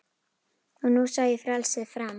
Og nú sá ég frelsið fram